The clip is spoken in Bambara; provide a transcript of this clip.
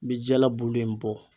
N bɛ jala bulu in bɔ.